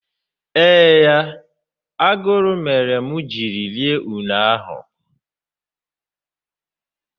Eee ya, aguru mere mụ jiri rie une ahụ